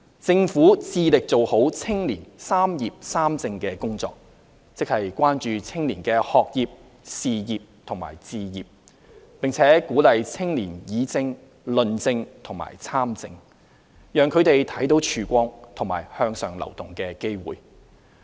政府致力做好青年"三業三政"工作，即關注青年的學業、事業及置業，並鼓勵青年議政、論政及參政，讓他們看到曙光和向上流動的機會。